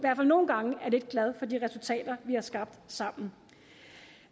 gange er lidt glad for de resultater vi har skabt sammen